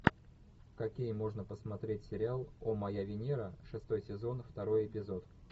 какие можно посмотреть сериал о моя венера шестой сезон второй эпизод